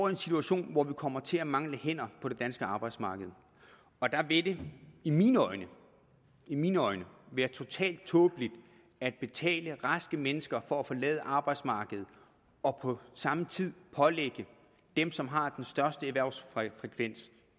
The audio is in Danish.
en situation hvor vi kommer til at mangle hænder på det danske arbejdsmarked og der vil det i mine øjne i mine øjne være totalt tåbeligt at betale raske mennesker for at forlade arbejdsmarkedet og på samme tid pålægge dem som har den største erhvervsfrekvens